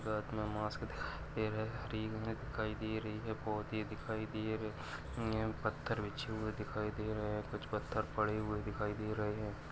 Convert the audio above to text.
एक हात मे मास्क दिखाई दे रहा है। हरी घने दिखाई दे रही है। पौधे दिखाई दे रहे है। यह पथर बिछी हुई दिखाई दे रहे है। कुछ पथर पड़े हुए दिखाई दे रहे है।